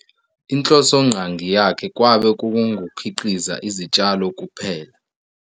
Inhlosonqangi yakhe kwabe kungukukhiqiza izitshalo kuphela.